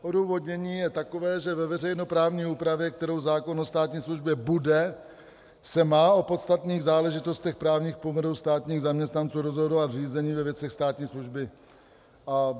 Odůvodnění je takové, že ve veřejnoprávní úpravě, kterou zákon o státní službě bude, se má o podstatných záležitostech právních poměrů státních zaměstnanců rozhodovat v řízení ve věcech státní služby.